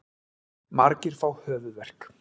Margir fá höfuðverk.